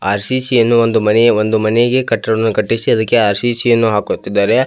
RCC ಯನ್ನು ಒಂದು ಮನೆಯ ಒಂದು ಮನೆಗೆ ಕಟ್ಟಡವನ್ನು ಕಟ್ಟಿಸಿ ಅದಕ್ಕೆ ಆರ್.ಸಿ.ಸಿ ಯನ್ನು ಹಾಕುತ್ತಿದ್ದಾರೆ.